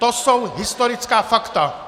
To jsou historická fakta!